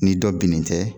Ni dɔ binnen tɛ